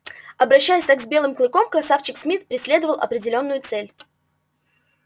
обращаясь так с белым клыком красавчик смит преследовал определённую цель